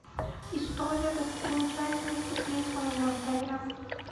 история достопримечательностей близ моего отеля